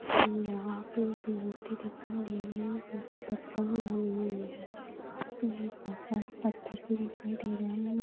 यहाँ पे एक मूर्ति दिखाई दे रही है जो कि पत्थर की बनी हुई है यहाँ पे बहुत सारे पत्थर भी दिखाई दे रहे है।